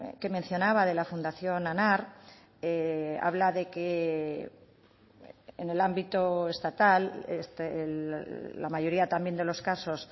que mencionaba de la fundación anar habla de que en el ámbito estatal la mayoría también de los casos